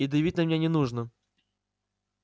и давить на меня не нужно